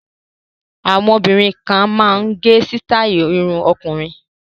Àwọn obìnrin kan máa ń gẹ sítáì irun ọkùnrin.